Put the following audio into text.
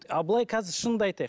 а былай қазір шынын да айтайық